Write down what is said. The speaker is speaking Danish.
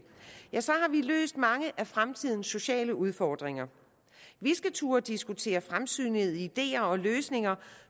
har vi løst mange af fremtidens sociale udfordringer vi skal turde diskutere fremsynede ideer og løsninger